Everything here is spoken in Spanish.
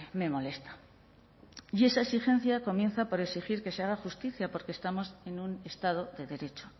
me molesta y esa exigencia comienza por exigir que se haga justicia porque estamos en un estado de derecho